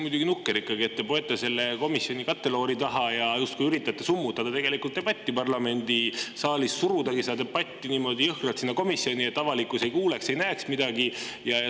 Muidugi, nukker ikkagi, et te poete selle komisjoni katteloori taha ja justkui üritate summutada debatti parlamendisaalis, suruda seda debatti niimoodi jõhkralt komisjoni, et avalikkus ei kuuleks ega näeks midagi.